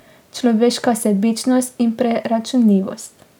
Človeška sebičnost in preračunljivost.